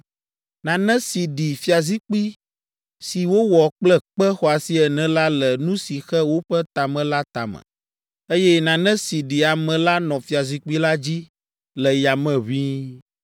Nane si ɖi fiazikpui si wowɔ kple kpe xɔasi ene la le nu si xe woƒe tame la tame, eye nane si ɖi ame la nɔ fiazikpui la dzi le yame ʋĩi.